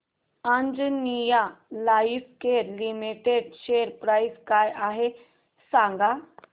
Anjaneya lifecare limited share price काय आहे सांगा